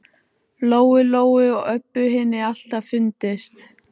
Lóu Lóu og Öbbu hinni alltaf fundist.